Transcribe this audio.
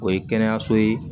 O ye kɛnɛyaso ye